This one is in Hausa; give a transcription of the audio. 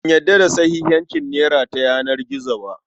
Ban yarda da sahihancin nera ta yanar gizo ba.